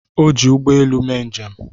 O ji ụgbọ elu mee njem.